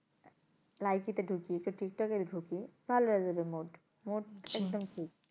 Likee তে ঢুকি একটু টিকটকে ঢুকি ভালো হয়ে যাবে mood, mood